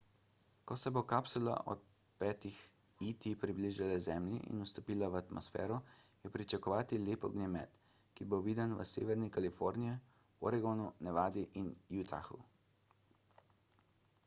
ko se bo kapsula ob 5-ih et približala zemlji in vstopila v atmosfero je pričakovati lep ognjemet ki bo viden v severni kaliforniji oregonu nevadi in utahu